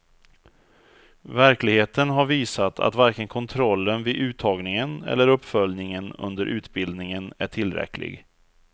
Verkligheten har visat att varken kontrollen vid uttagningen eller uppföljningen under utbildningen är tillräcklig.